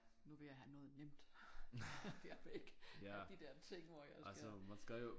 Nu vil jeg have noget nemt jeg vil ikke have de der ting hvor jeg skal